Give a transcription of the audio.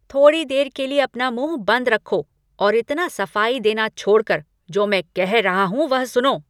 थोड़ी देर के लिए अपना मुँह बंद रखो और इतना सफाई देना छोड़ कर जो मैं कहा रहा हूँ, वह सुनो।